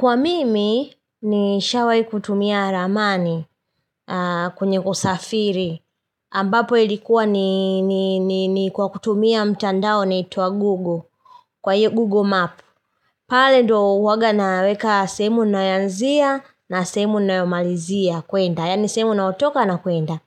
Kwa mimi nishawai kutumia ramani kwenye kusafiri. Ambapo ilikuwa ni kwa kutumia mtandao unaitwa Google. Kwa hiyo Google Map. Pale ndo huwanga naweka sehemu nayoanzia na sehemu nayomalizia kuenda. Yaani sehemu nayotoka na kuenda.